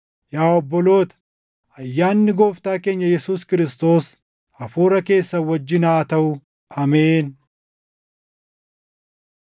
Yaa obboloota, ayyaanni Gooftaa keenya Yesuus Kiristoos hafuura keessan wajjin haa taʼu. Ameen.